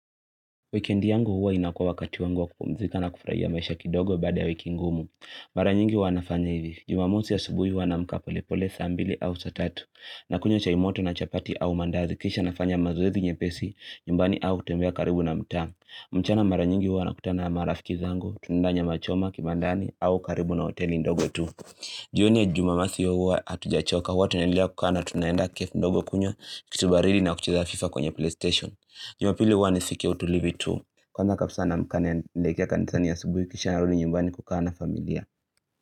Weekend yangu huwa inakuwa wakati wangu wa kupumzika na kufurahia maisha kidogo baada ya wiki ngumu. Mara nyingi huwa nafanya hivi. Jumamosi asubuhi huwa anaamka pole pole saa mbili au saa tatu. Nakunywa chai moto na chapati au mandazi. Kisha nafanya mazoezi nyepesi, nyumbani au kutembea karibu na mtamu. Mchana mara nyingi huwa nakutana na marafiki zangu, tunaendea nyama choma, kibandani, au karibu na hoteli ndogo tu. Jioni ya jumamosi hutujachoka huwa tunaendelea kukaa tunaenda kef ndogo kunywa kitu baridi na kucheza fifa kwenye playstation jumapili huwa ni siku ya utulivu tu kwanza kabisa naamka naelekea kanisani asubuhi kisha narudi nyumbani kukaa na familia.